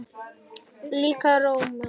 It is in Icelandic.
Lækkar róminn.